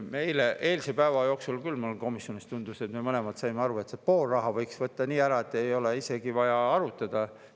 Me eilse päeva jooksul, mulle küll komisjonis tundus, mõlemad saime aru, et pool sellest rahast võiks võtta ära nii, et ei ole isegi vaja arutada.